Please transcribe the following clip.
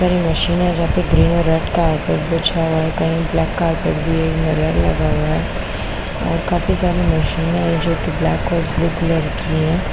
ऊपर मशीन है जहाँ पे ग्रीन और रेड कार्पेट बिछा हुआ है कहीं ब्लैक कार्पेट भी है इन्हेलर लगा हुआ है और काफी सारे मशीने हैं जो कि ब्लैक और ब्लू कलर की हैं।